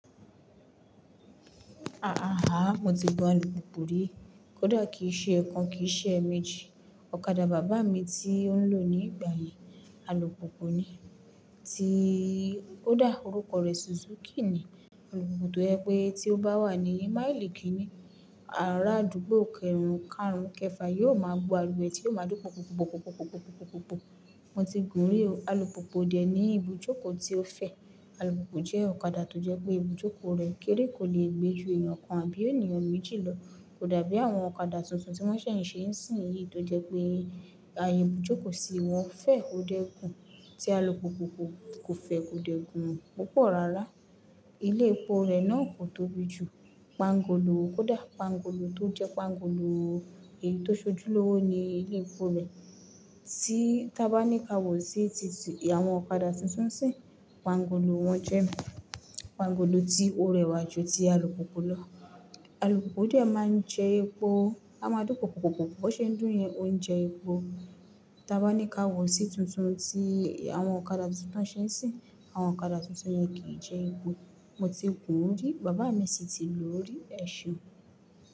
Aàhà, mo ti gun alùpùpù rí. Kódà kì í ṣe ẹ̀kan kì í ṣe ẹ̀mejì. Ọ̀kadà bàbá mi tí ó ń lò ní ìgbà yẹn alùpùpù ni, tí ó kódà orúkọ rẹ̀ Suzuki ni. Alùpùpù tó jẹ pé tí ó bá wà ní máìlì kíní, àárá àdúgbò kẹrun, kaàrún kẹfà yóò máa gbó ariwo ẹ̀ tí ó máa dún pùpùpùpùpùpùpùpù. Mo ti gùn-ún rí o. Alùpùpù ò dẹ̀ ní ibùjókòó tí ó fẹ̀. Alùpùpù jẹ́ ọ̀kadà tó jẹ pé ibùjókòó rẹ̀ kéré, kò lè gbé ju èèyàn kan àbí ènìyàn méjì lọ. Kódà bí àwọn ọ̀kadà tuntun tí wọ́n ṣẹ̀ ń sé nsìnyìí tó jẹ pé ààyè ìbùjókòó sí i wọn fẹ̀ ó dẹ̀ gùn, tí alùpùpù kò fẹ̀ kò dẹ̀ gùn púpọ̀ rárá. Ilé epo rẹ̀ náà kò tóbi jù. Pángolo, kódà pángolo tó jẹ́ pàngolo èyí tó ṣojúlówó ni ilé epo rẹ̀. Tí tá bá ní ká wò sí titi àwọn ọ̀kadà tuntun nsìnyìí, pángolo wọn jẹ́ pángolo tí ó rẹwà ju ti alùpùpù lọ. Alùpùpù dẹ̀ máa ń jẹ epo, á máa dún púpúpúpúpùpùpùpù, bó ṣe ń dùn yẹn, ó ń jẹ epo. Tá bá ní ká wò sí tuntun tí àwọn ọ̀kadà tuntun tí wọ́n n ṣe ńṣìnyìí, àwọn ọ̀kadà tuntun yẹn kì í jẹ epo. Mo ti gùn-ún rí, bàbá mi sì ti lòó rí, ẹ ṣọ.